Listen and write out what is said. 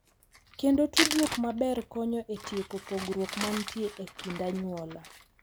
Kendo tudruok maber konyo e tieko pogruok mantie e kind anyuola.